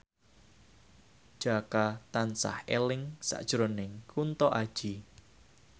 Jaka tansah eling sakjroning Kunto Aji